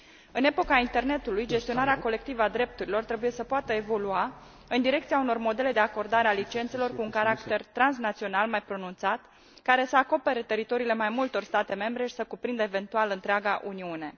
În epoca internetului, gestionarea colectivă a drepturilor trebuie să poată evolua în direcția unor modele de acordare a licențelor cu un caracter transnațional mai pronunțat, care să acopere teritoriile mai multor state membre și să cuprindă eventual întreaga Uniune.